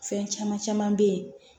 Fɛn caman caman bɛ ye